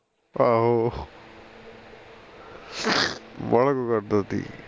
ਆਹੋ ਵਾਲ਼ਾ ਕੁੱਛ ਕਰਦਾ ਸੀ